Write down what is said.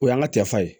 O y'an ka tɛ fa ye